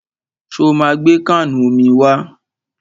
Ṣo ma gbé káànù omi wá?